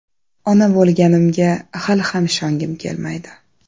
Ona bo‘lganimga hali ham ishongim kelmaydi.